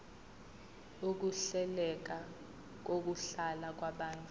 ukuhleleka kokuhlala kwabantu